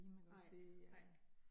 Nej, nej